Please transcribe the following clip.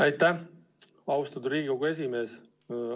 Aitäh, austatud Riigikogu esimees!